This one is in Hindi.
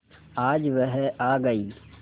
आज वह आ गई